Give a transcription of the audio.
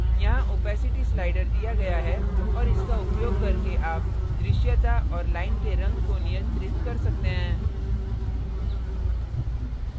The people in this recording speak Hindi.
यहाँ opacity opacity slider दिया गया है और इसका उपयोग करके आप दृश्यता और line के रंग को नियंत्रित कर सकते हैं